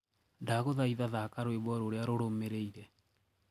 ndagũthaitha thaka rwĩmbo rũrĩa rurũmiriire